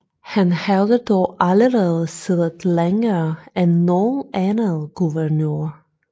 Han havde dog allerede siddet længere end nogen anden guvernør